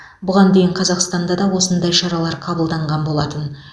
бұған дейін қазақстанда да осындай шаралар қабылданған болатын